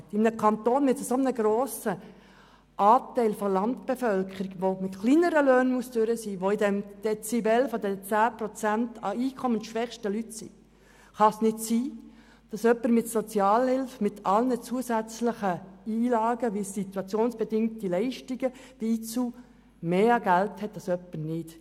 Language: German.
In einem Kanton mit einem so grossen Anteil an Landbevölkerung, die mit kleineren Löhnen auskommen muss, wobei sich diese 10 Prozent der einkommensschwächsten Personen dort befinden, kann es nicht sein, dass jemand mit Sozialhilfe mit allen Zusätzen wie den SIL mehr Geld hat als jemand, der keine Sozialhilfe bezieht.